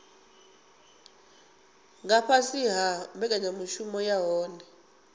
nga fhasi ha mbekanyamushumo yohe